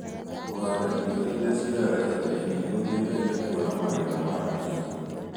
Kũhanda irio irĩa cioyaga ihinda inini nĩgũteithagia kuona magetha ma naihenya